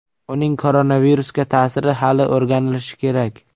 Uning koronavirusga ta’siri hali o‘rganilishi kerak.